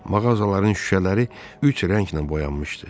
Mağazaların şüşələri üç rənglə boyanmışdı.